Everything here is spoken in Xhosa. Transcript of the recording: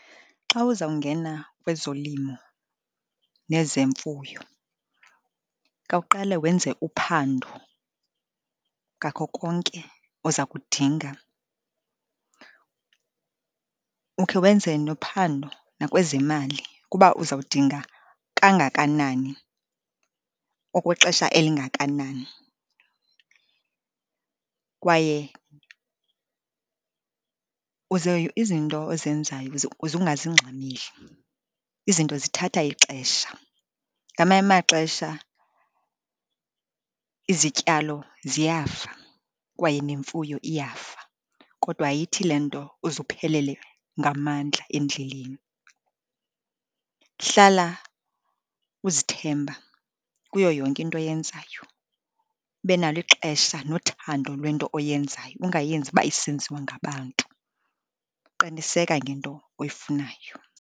Xa uzawungena kwezolimo nezemfuyo khawuqale wenze uphando ngako konke oza kudinga. Ukhe wenze nophando nakwezemali kuba uzawudinga kangakanani, okwexesha elingakanani, kwaye uze izinto ozenzayo uze ungazingxameli. Izinto zithatha ixesha. Ngamanye amaxesha izityalo ziyafa kwaye nemfuyo iyafa kodwa ayithi le nto uze uphelele ngamandla endleleni. Hlala uzithemba kuyo yonke into oyenzayo, ube nalo ixesha nothando lwento oyenzayo, ungayenzi uba isenziwa ngabantu. Qiniseka ngento oyifunayo.